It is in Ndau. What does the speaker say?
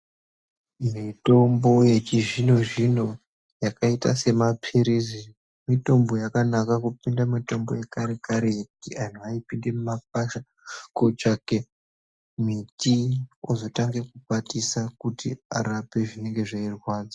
Mitombo yechizvino-zvino yakaita semaphirizi mitombo yakanaka kupinda mitombo yakarekare. Antu aipinde mumakwasha kotsvake miti ozotange kukwatisa kuti arape zvinenge zveirwadza.